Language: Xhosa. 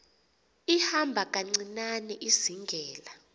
ihamba kancinane izingela